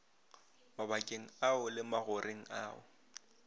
mabakeng ao le magoreng ao